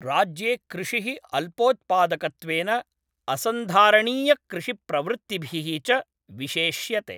राज्ये कृषिः अल्पोत्पादकत्वेन, असंधारणीयकृषिप्रवृत्तिभिः च विशेष्यते।